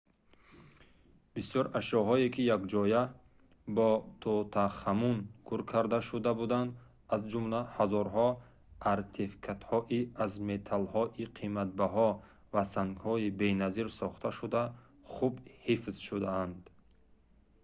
бисёр ашёҳое ки якҷоя бо тутанхамун гӯр карда шуда буданд аз ҷумла ҳазорҳо артефактҳои аз металлҳои қиматбаҳо ва сангҳои беназир сохташуда хуб ҳифз шудаанд